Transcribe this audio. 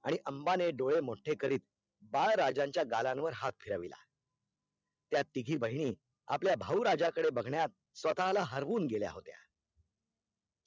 आणि आम्बा ने दूरे मूते करीत बाल राजनिय गालाल्वन हाथ फिरविला तिगी बहेनी आपल्या भौराजाला बघण्यात स्वतःला हरून गेल्या होत्य